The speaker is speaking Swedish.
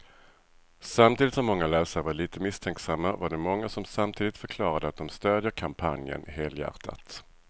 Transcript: Samtidigt som många läsare var lite misstänksamma var det många som samtidigt förklarade att de stödjer kampanjen helhjärtat.